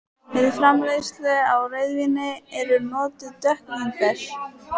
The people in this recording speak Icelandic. Við framleiðslu á rauðvíni eru notuð dökk vínber.